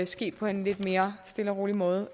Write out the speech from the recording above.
ske på en lidt mere stille og rolig måde